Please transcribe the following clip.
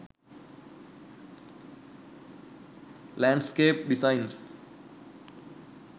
landscape designs